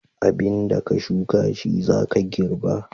Abin da ka shuka shi za ka girɓa.